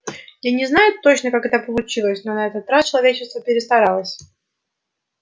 я не знаю точно как это получилось но на этот раз человечество перестаралось